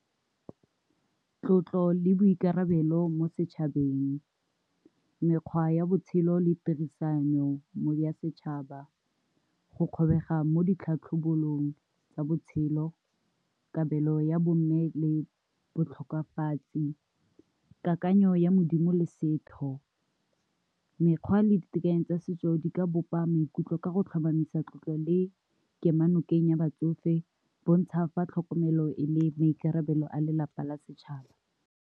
Tlotlo le boikarabelo mo setšhabeng, mekgwa ya botshelo le tirisano mo ya setšhaba, go kgobega mo ditlhatlhobong tsa botshelo, kabelo ya bo mme le botlhokafatsi, kakanyo ya Modimo le setho, mekgwa le ditekanyetso tsa setso di ka bopa maikutlo ka go tlhomamisa tlotlo le kemonokeng ya batsofe, bo ntsha fa tlhokomelo e le maikarabelo a lelapa la setšhaba.